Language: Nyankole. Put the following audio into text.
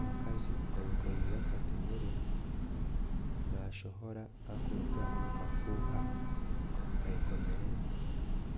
Omukazi ayekoreire akatemere nashohora arikuruga omukafuuha ayekomire